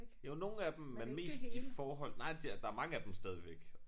Jo nogle af dem men mest i forhold nej det og der mange af dem stadigvæk